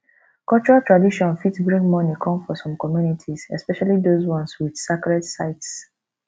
cultural tradition fit bring money come for some communities especially those ones with sacred sites